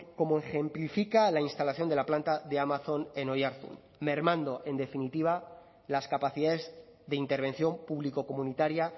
como ejemplifica la instalación de la planta de amazon en oiartzun mermando en definitiva las capacidades de intervención público comunitaria